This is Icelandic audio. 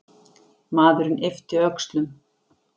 Maðurinn yppti öxlum.